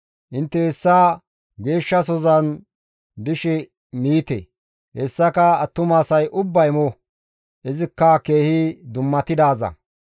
Intte hessa geeshshasozan dishe miite; hessaka attumasay ubbay mo; izikka keehi dummatidaaza.